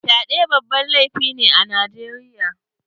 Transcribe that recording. Fyaɗe babban laifi ne a Najeriya.